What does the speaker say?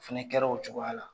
Fana kɛra o cogoya la